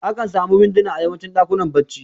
Akan samu winduna a yawancin ɗakunan barci